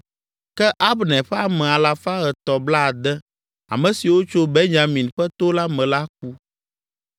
Ke Abner ƒe ame alafa etɔ̃ blaade (360), ame siwo tso Benyamin ƒe to la me la ku.